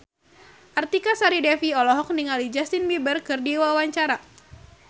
Artika Sari Devi olohok ningali Justin Beiber keur diwawancara